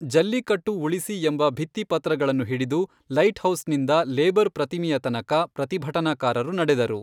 ಜಲ್ಲಿಕಟ್ಟು ಉಳಿಸಿ ಎಂಬ ಭಿತ್ತಿಪತ್ರಗಳನ್ನು ಹಿಡಿದು ಲೈಟ್ಹೌಸ್ನಿಂದ ಲೇಬರ್ ಪ್ರತಿಮೆಯ ತನಕ ಪ್ರತಿಭಟನಕಾರರು ನಡೆದರು.